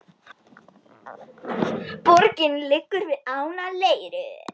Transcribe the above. Borgin liggur við ána Leiru.